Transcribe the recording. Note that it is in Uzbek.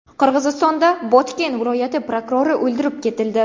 Qirg‘izistonda Botken viloyati prokurori o‘ldirib ketildi.